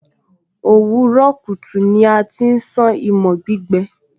òwúrọ̀ kùtù ni a ti ń sán imọ̀ gbígbẹ